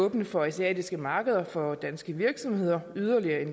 åbne for asiatiske markeder for danske virksomheder